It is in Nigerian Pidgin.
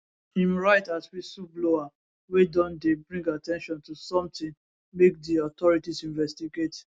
im write as whistleblower wey don dey bring at ten tion to sometin make di authorities investigate